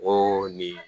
O nin